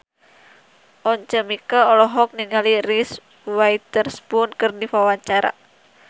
Once Mekel olohok ningali Reese Witherspoon keur diwawancara